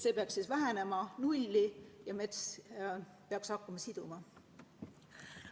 See peaks vähenema nulli ja mets peaks hakkama siduma.